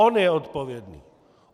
On je odpovědný!